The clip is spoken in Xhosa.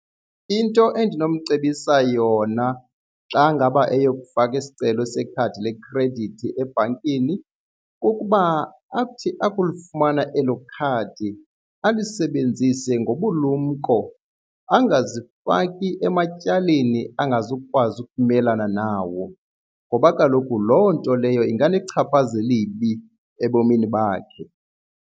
Into endinomcebisa yona xa ngaba eyokufaka isicelo sekhadi lekhredithi ebhankini kukuba athi akulifumana elo khadi alisebenzise ngobulumko, angazifaki ematyaleni angazukwazi ukumelana nawo ngoba kaloku loo nto leyo ingalichaphaza elibi ebomini bakhe.